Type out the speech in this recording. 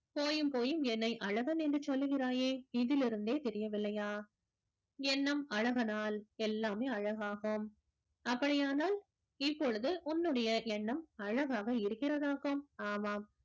போயும் போயும் என்னை அழகன் என்று சொல்லுகிறாயே இதிலிருந்தே தெரியவில்லையா எண்ணம் அழகானால் எல்லாமே அழகாகும் அப்படியானால் இப்பொழுது உன்னுடைய எண்ணம் அழகாக இருக்கிறதாகும் ஆமாம்